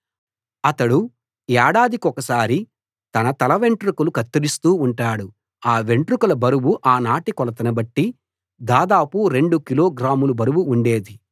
అతడు ఏడాదికొకసారి తన తలవెంట్రుకలు కత్తిరిస్తూ ఉంటాడు ఆ వెంట్రుకల బరువు ఆనాటి కొలతను బట్టి దాదాపు రెండు కిలోగ్రాముల బరువు ఉండేది